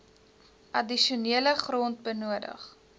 addisionele grond benodig